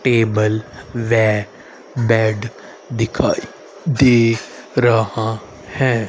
Table वे bed दिखाइ दे रहा है।